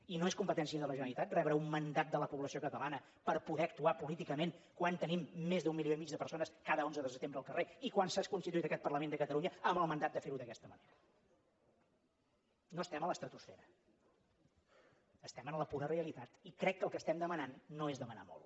i no és competència de la generalitat rebre un mandat de la població catalana per poder actuar políticament quan tenim més d’un milió i mig de persones cada onze de setembre al carrer i quan s’ha constituït aquest parlament de catalunya amb el mandat de ferho d’aquesta manera no estem a l’estratosfera estem a la pura realitat i crec que el que estem demanant no és demanar molt